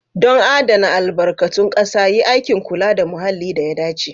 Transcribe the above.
Don adana albarkatun ƙasa, yi aikin kula da muhalli da ya dace.